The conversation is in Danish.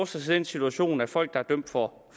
sig den situation at folk der er dømt for